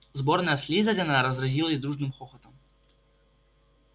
сборная слизерина разразилась дружным хохотом